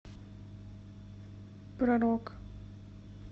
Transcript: про рок